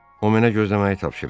O mənə gözləməyi tapşırırdı.